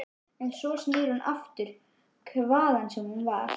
En svo snýr hún aftur, hvaðan sem hún var.